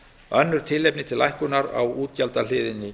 önnur tilefni til lækkunar á útgjaldahliðinni